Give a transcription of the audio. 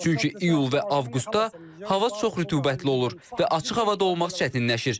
Çünki iyul və avqustda hava çox rütubətli olur və açıq havada olmaq çətinləşir.